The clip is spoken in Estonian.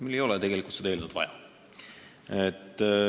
Meil ei ole seda eelnõu tegelikult vaja.